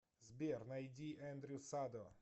сбер найди эндрю садо